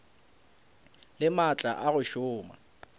le maatla a go šoma